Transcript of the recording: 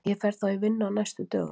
Ég fer í þá vinnu á næstu dögum.